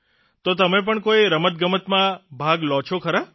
તો તમે પણ કોઇ રમતગમતમાં ભાગ લો છો ખરા